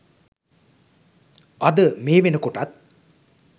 අද මේ වෙනකොටත්